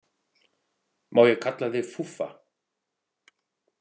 Má ég kalla þig Fúffa?